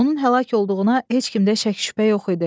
Onun həlak olduğuna heç kimdə şəkk-şübhə yox idi.